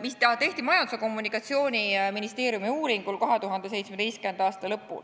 mis tehti Majandus- ja Kommunikatsiooniministeeriumis 2017. aasta lõpul.